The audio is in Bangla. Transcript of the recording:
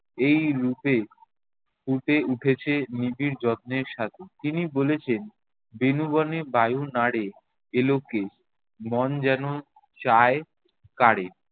এই রূপে ফুটে উঠেছে নিবিড় যত্নের সাথে। তিনি বলেছেন বেণুবনে বায়ু নাড়ে এলোকে, মন যেনো চায় কারে।